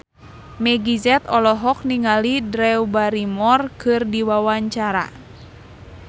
Meggie Z olohok ningali Drew Barrymore keur diwawancara